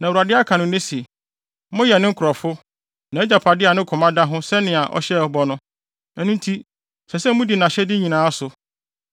Na Awurade aka no nnɛ se, moyɛ ne nkurɔfo, nʼagyapade a ne koma da ho sɛnea ɔhyɛɛ bɔ no; ɛno nti, ɛsɛ sɛ mudi nʼahyɛde nyinaa so.